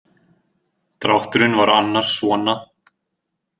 Drátturinn var annars svona.